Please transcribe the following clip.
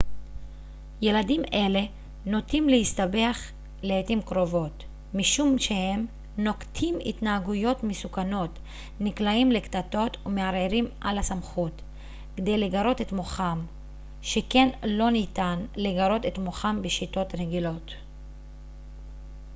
ילדים אלה נוטים להסתבך לעתים קרובות משום שהם נוקטים התנהגויות מסוכנות נקלעים לקטטות ומערערים על הסמכות כדי לגרות את מוחם שכן לא ניתן לגרות את מוחם בשיטות רגילות